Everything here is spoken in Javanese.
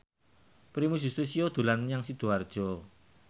Primus Yustisio dolan menyang Sidoarjo